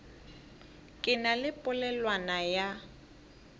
ke na le polelwana ya